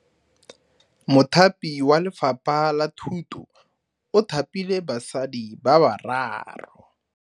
Mothapi wa Lefapha la Thuto o thapile basadi ba ba raro.